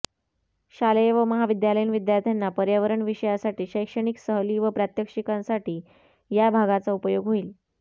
शालेय व महाविद्यालयीन विद्यार्थ्यांना पर्यावरण विषयासाठी शैक्षणिक सहली व प्रात्यक्षिकांसाठी या भागाचा उपयोग होईल